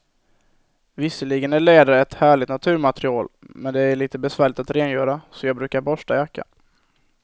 Visserligen är läder ett härligt naturmaterial, men det är lite besvärligt att rengöra, så jag brukar borsta jackan.